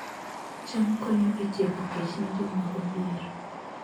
cham konyo e tieko kech ne joma odhier